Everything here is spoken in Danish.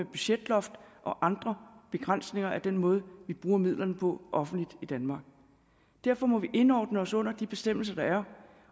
budgetloft og andre begrænsninger er den måde vi bruger midlerne på offentligt i danmark derfor må vi indordne os under de bestemmelser der er